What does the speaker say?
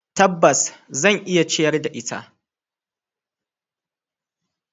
Tabbas, zan iya ciyar da ita.